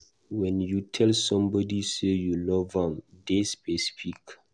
When you tell somebody sey you love am, dey specific